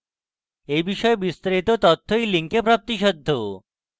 এই বিষয়ে বিস্তারিত তথ্য এই link প্রাপ্তিসাধ্য